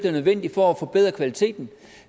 er nødvendigt for at forbedre kvaliteten